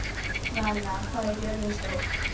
Vala, hvað er jörðin stór?